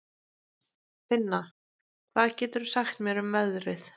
Finna, hvað geturðu sagt mér um veðrið?